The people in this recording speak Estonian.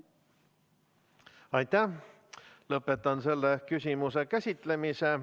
Lõpetan selle küsimuse käsitlemise.